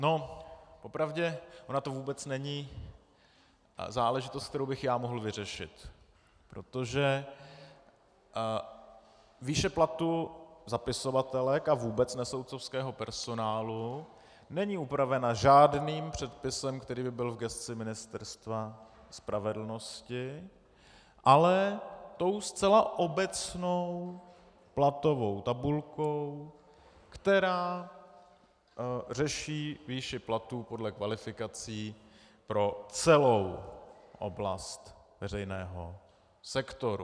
Po pravdě ona to vůbec není záležitost, kterou bych já mohl vyřešit, protože výše platu zapisovatelek a vůbec nesoudcovského personálu není upravena žádným předpisem, který by byl v gesci Ministerstva spravedlnosti, ale tou zcela obecnou platovou tabulkou, která řeší výši platů podle kvalifikací pro celou oblast veřejného sektoru.